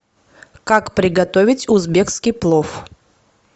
как приготовить узбекский плов